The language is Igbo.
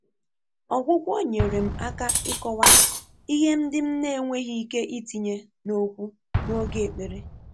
Ọ́gwụ́gwọ́ nyèrè m áká ị́kọ́wá ìhè ndị́ m nà-énwéghị́ íké ítìnyé n’ókwú n’ógè ékpèré.